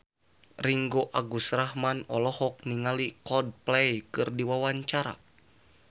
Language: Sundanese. Ringgo Agus Rahman olohok ningali Coldplay keur diwawancara